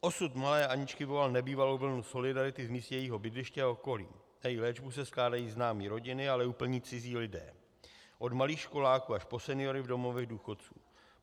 Osud malé Aničky vyvolal nebývalou vlnu solidarity v místě jejího bydliště a okolí, na její léčbu se skládají známí rodiny, ale i úplně cizí lidé, od malých školáků až po seniory v domovech důchodců.